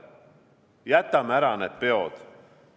Jätame ära peod.